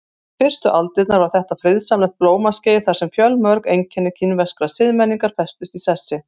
Fyrstu aldirnar var þetta friðsamlegt blómaskeið þar sem fjölmörg einkenni kínverskrar siðmenningar festust í sessi.